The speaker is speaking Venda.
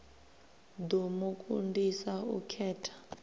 ḓo mu kundisa u khetha